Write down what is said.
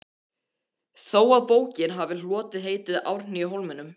þó að bókin hafi hlotið heitið Árni í Hólminum.